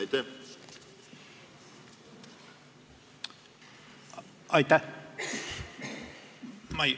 Aitäh!